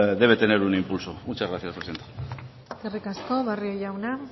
debe tener un impulso muchas gracias presidenta eskerrik asko barrio jauna